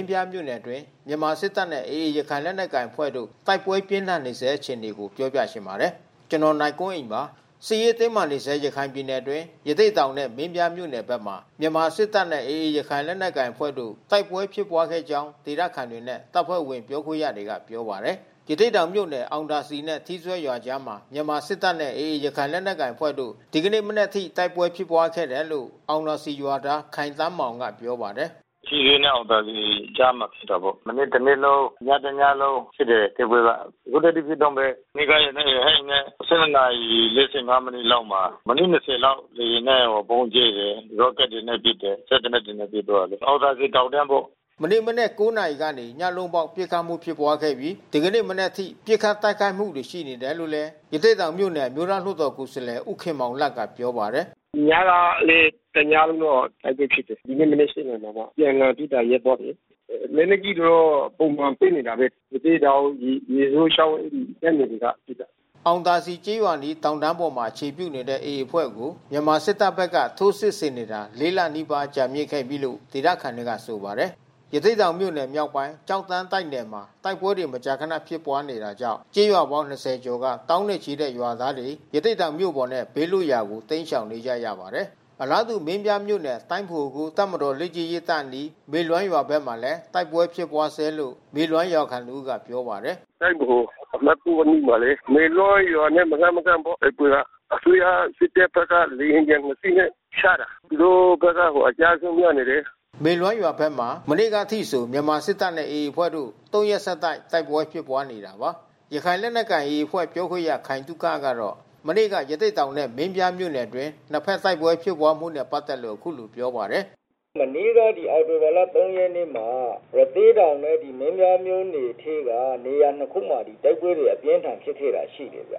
င်းပြားမြို့နယ်အတွင်း မြန်မာစစ်တပ်နဲ့ AA ရခိုင်လက်နက်ကိုင်အဖွဲ့တို့ တိုက်ပွဲပြင်းထန်နေဆဲ ဖြစ်ပါတယ်။ အပြည့်အစုံကို နိုင်ကွန်းအိန် ဆက်သွယ်မေးမြန်းပြီး သတင်းပေးပို့ထားပါတယ်။ စစ်ရေးတင်းမာနေဆဲ ရခိုင်ပြည်နယ်အတွင်း ရသေ့တောင်နဲ့ မင်းပြားမြို့နယ်ဘက်မှာ မြန်မာစစ်တပ်နဲ့ AA ရခိုင်လက်နက်ကိုင်အဖွဲ့တို့ တိုက်ပွဲပြင်းထန် ဖြစ်ပွားခဲ့ကြောင်း ဒေသခံတွေနဲ့ တပ်ဖွဲ့ဝင် ပြောခွင့်ရတွေက ပြောပါတယ်။ ရသေ့တောင်မြို့နယ် အောင်သာစည်နဲ့ ထီးစွဲရွာအကြားမှာ မြန်မာစစ်တပ်နဲ့ AA ရခိုင်လက်နက်ကိုင်အဖွဲ့တို့ ဒီကနေ့မနက်အထိ တိုက်ပွဲဖြစ်ပွားခဲ့တယ်လို့ အောင်သာစည်ရွာသား ခိုင်သန်းမောင်က ပြောပါတယ်။ “ထီးစွဲနဲ့ အောင်သာစည်ကြားမှာ ဖြစ်တာပေါ့။ မနေ့တနေ့လုံး၊ ညတညလုံး တိုက်ပွဲက။ အခုထက်ထိ ဖြစ်တုန်းပဲ။ မနေ့က ရဟတ်ယာဉ်နဲ့ ၁၂ နာရီ ၄၅ မိနစ်လောက်မှာ မိနစ် ၂၀ လောက် လေယာဉ်နဲ့ ဗုံးကြဲတယ်၊ ရော့ကက်တွေနဲ့ ပစ်တယ်၊ စက်သေနတ်တွေနဲ့ ပစ်သွားတယ်။ အောင်သာစည်တောင်တန်းပေါ့။” မနေ့မနက် ၉ နာရီကနေ ညလုံးပေါက် ပစ်ခတ်မှုဖြစ်ပွားပြီး ဒီကနေ့မနက်အထိ ပစ်ခတ်တိုက်ခိုက်မှု ရှိနေတယ်လို့လည်း ရသေ့တောင်မြို့နယ် အမျိုးသားလွှတ်တော်ကိုယ်စားလှယ် ဦးခင်မောင်လတ်က ပြောပါတယ်။ “ညကလည်း တညလုံး တိုက်ပွဲဖြစ်တယ်။ ဒီနေ့မနက် ၈ နာရီမှာမှ အပြန်အလှန်ပစ်တာ ရပ်သွားတယ်။ လက်နက်ကြီးတော့ ပုံမှန်ပစ်နေတာပဲ။ ရသေ့တောင် ရေစိုးချောင်းတပ်နယ်တွေက ပစ်တာ။” အောင်သာစည်ကျေးရွာအနီး တောင်တန်းပေါ်မှာ အခြေပြုနေတဲ့ AA အဖွဲ့ကို မြန်မာစစ်တပ်ဘက်က ထိုးစစ်ဆင်နေတာ ၄ လနီးပါး ကြာမြင့်ခဲ့ပြီလို့ ဒေသခံတွေက ဆိုပါတယ်။ ရသေ့တောင်မြို့နယ် မြောက်ပိုင်း ကျောက်တန်းတိုက်နယ်မှာ တိုက်ပွဲတွေ မကြာခဏ ဖြစ်ပွားနေတာကြောင့် ကျေးရွာပေါင်း ၂ဝ ကျော်က သောင်းနဲ့ချီတဲ့ ရွာသားတွေ ရသေ့တောင်မြို့ပေါ်နဲ့ ဘေးလွတ်ရာကို တိမ်းရှောင်နေကြရပါတယ်။ အလားတူ မင်းပြားမြို့နယ် တိုင်းဗဟို ၉ တပ်မတော်လေ့ကျင့်ရေးတပ်အနီး မေလွမ်းရွာဘက်မှာလည်း တိုက်ပွဲဖြစ်ပွားနေဆဲလို့ မေလွမ်းရွာခံတဦးက ပြောပါတယ်။ “တိုင်းဗဟိုအမှတ် ၉ အနီးမှာလေ။ မေလွမ်းရွာနဲ့ မလှမ်းမကမ်းပေါ့ တိုက်ပွဲက။ အစိုးရစစ်တပ်ဘက်က လေယာဉ်ပျံနှစ်စီးနဲ့ ချတာ။ သူတို့ဘက်က အကျအဆုံး များနေတယ်။” မေလွမ်းရွာဘက်မှာ မနေ့ကအထိဆို မြန်မာစစ်တပ်နဲ့ AA အဖွဲ့တို့ ၃ ရက်ဆက် တိုက်ပွဲဖြစ်ပွားနေခဲ့တာပါ။ ရခိုင်လက်နက်ကိုင် AA အဖွဲ့ ပြောခွင့်ရ ခိုင်သုခကတော့ မနေ့က ရသေ့တောင်နဲ့ မင်းပြားမြို့နယ်အတွင်း နှစ်ဖက် တိုက်ပွဲဖြစ်ပွားမှုနဲ့ ပတ်သက်လို့ အခုလိုပြောပါတယ်။ “မနေ့က အောက်တိုဘာလ ၃ ရက်နေ့မှာ ရသေ့တောင်နဲ့ မင်းပြားမြို့နယ်ထဲက နေရာနှစ်ခုမှာ တိုက်ပွဲအပြင်းအထန် ဖြစ်ခဲ့တာရှိတယ်။ ရ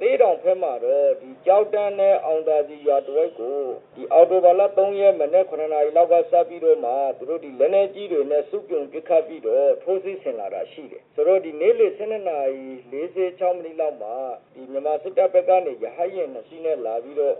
သေ့တောင်ဘက်မှာတော့ ကျောက်တန်းနဲ့ အောင်သာစည်ရွာတဝိုက်ကို အောက်တိုဘာလ ၃ ရက် မနက် ၇ နာရီလောက်ကစပြီးတော့မှ သူတို့ လက်နက်ကြီးတွေနဲ့ စုပြုံပစ်ခတ်ပြီးတော့ ထိုးစစ်ဆင်လာတာ ရှိတယ်။ ဆိုတော့ နေ့လယ် ၁၂ နာရီ ၄၆ မိနစ်လောက်မှာ မြန်မာစစ်တပ်ဘက်က ရဟတ်ယာဉ်နှစ်စီးနဲ့ လာပြီးတော့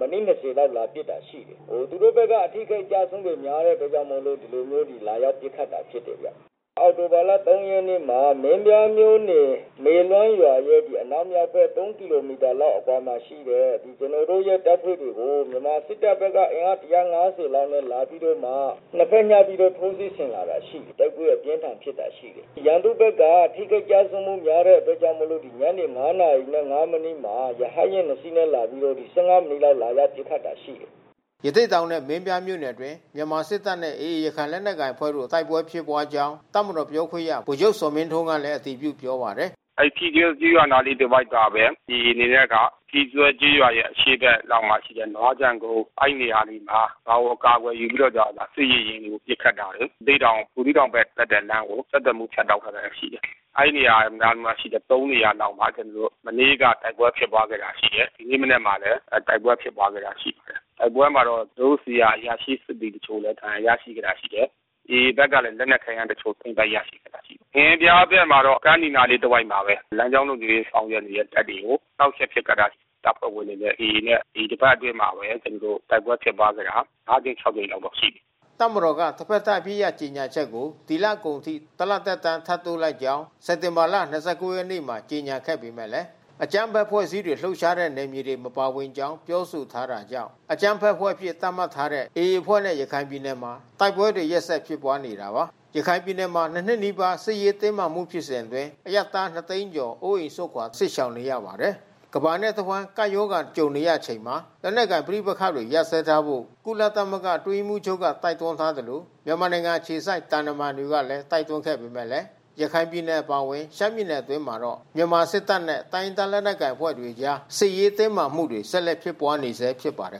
မိနစ် ၂၀ လောက် လာပစ်တာရှိတယ်။ “သူတို့ဘက်က အထိခိုက်အကျဆုံးတွေ များတဲ့အတွက်ကြောင့်မို့လို့ ဒီလိုမျိုး လာရောက်ပစ်ခတ်တာ ဖြစ်တယ်ဗျ။ အောက်တိုဘာလ ၃ ရက်နေ့မှာ မင်းပြားမြို့နယ် မေလွမ်းရွာရဲ့ အနောက်မြောက်ဘက် ၃ ကီလိုမီတာ အကွာလောက်မှာရှိတဲ့ ကျနော်တို့ရဲ့ တပ်ဖွဲ့တွေကို မြန်မာစစ်တပ်ဘက်က အင်အား ၁၅၀ လောက်နဲ့ လာပြီးတော့မှ နှစ်ဖက်ညှပ်ပြီးတော့ ထိုးစစ်ဆင်လာတာရှိတယ်။ တိုက်ပွဲအပြင်းအထန် ဖြစ်တာရှိတယ်။ ရန်သူ့ဘက်က ထိခိုက်ကျဆုံးမှု များတဲ့အတွက်ကြောင့်မို့လို့ ညနေ ၅ နာရီနဲ့ ၅ မိနစ်မှာ ရဟတ်ယဉ်နှစ်စီးနဲ့ လာပြီးတော့ ၁၅ မိနစ်လောက် လာပစ်တာရှိတယ်။” ရသေ့တောင်နဲ့ မင်းပြားမြို့နယ်အတွင်း မြန်မာစစ်တပ်နဲ့ AA ရခိုင်လက်နက်ကိုင်အဖွဲ့တို့ တိုက်ပွဲဖြစ်ပွားကြောင်း တပ်မတော်ပြောခွင့်ရ ဗိုလ်ချုပ်ဇော်မင်းထွန်းကလည်း အတည်ပြုပြောပါတယ်။ “အဲဒီ ထီးစွဲကျေးရွာ အနားလေးတဝိုက်ကပဲ AA အနေနဲ့က ထီးစွဲကျေးရွာ အရှေ့ဘက်တောင်မှာရှိတဲ့ နွားခြံကုန်း အဲဒီနေရာတွေက ရွာကို အကာကွယ်ယူပြီးတော့ စစ်ရေယာဉ်တွေကို ပစ်ခတ်လာတယ်။ ရသေ့တောင် ဘူးသီးတောင်ဘက်တက်တဲ့လမ်းကို ဆက်သွယ်မှု ဖြတ်တောက်ထားတာ ရှိတယ်။ အဲဒီနေရာနားမှာရှိတဲ့ ၃ နေရာမှာ ကျနော်တို့ မနေ့က တိုက်ပွဲဖြစ်ပွားခဲ့တာ ရှိတယ်။ ဒီနေ့မနက်မှာလည်း တိုက်ပွဲဖြစ်ပွားခဲ့တာ ရှိတယ်။ တိုက်ပွဲမှာတော့ ကျနော်တို့ဆီက အရာရှိ စစ်သည်တချို့ ဒဏ်ရာရရှိခဲ့တာ ရှိတယ်။ AA ဘက်ကတော့ လက်နက်ခဲယမ်းတချို့ သိမ်းပိုက်ရခဲ့တာရှိတယ်။ မင်းပြားဘက်မှာတော့ ကမ်းနီနားလေး တဝိုက်မှာပဲ လမ်းကြောင်းလုံခြုံရေး စောင့်နေတဲ့ တပ်တွေကို နှောင့်ယှက်ပစ်ခတ်တာ၊ တပ်ဖွဲ့ဝင်တွေနဲ့ AA နဲ့ ဒီတပတ်အတွင်းမှာ တိုက်ပွဲဖြစ်ပွားခဲ့တာ ၅ ကြိမ် ၆ ကြိမ်လောက်ရှိပြီ။” တပ်မတော်က တဖက်သတ် အပစ်ရပ်ကြေညာချက်ကို ဒီလကုန်အထိ ၁ လသက်တမ်း ထပ်တိုးလိုက်ကြောင်း စက်တင်ဘာ ၂၉ ရက်မှာ ကြေညာခဲ့ပေမယ့် အကြမ်းဖက်အဖွဲ့အစည်းတွေ လှုပ်ရှားတဲ့ နယ်မြေတွေ မပါဝင်ကြောင်း ပြောဆိုထားတာကြောင့် အကြမ်းဖက်အဖွဲ့အဖြစ် သတ်မှတ်ထားတဲ့ AA အဖွဲ့နဲ့ ရခိုင်ပြည်နယ်မှာ တိုက်ပွဲတွေ ရက်ဆက်ဖြစ်ပွားနေတာပါ။ ရခိုင်ပြည်နယ်မှာ ၂ နှစ်နီးပါး စစ်ရေးတင်းမာမှု ဖြစ်စဉ်အတွင်း အရပ်သားနှစ်သိန်းကျော် အိုးအိမ်စွန့်ခွာ စစ်ရှောင်နေရပါတယ်။ ကမ္ဘာတဝန်း ကပ်ရောဂါနဲ့ ကြုံနေရချိန်မှာ လက်နက်ကိုင်ပဋိပက္ခတွေ ရပ်ဆဲထားကြဖို့ ကုလသမဂ္ဂ အတွင်းရေးမှူးချုပ်က တိုက်တွန်းထားသလို မြန်မာနိုင်ငံအခြေစိုက် သံတမန်တွေကလည်း တိုက်တွန်းခဲ့ပေမယ့်လည်း ရခိုင်ပြည်နယ် အပါအဝင် ရှမ်းပြည်နယ်အတွင်းမှာတော့ မြန်မာစစ်တပ်နဲ့ တိုင်းရင်းသား လက်နက်ကိုင်အဖွဲ့တွေအကြား စစ်ရေးတင်းမာမှုတွေ ဆက်လက်ဖြစ်ပွားနေဆဲ ဖြစ်ပါတယ်